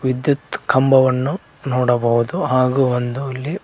ವಿದ್ಯುತ್ ಕಂಬವನ್ನು ನೋಡಬಹುದು ಹಾಗು ಒಂದು ಇಲ್ಲಿ--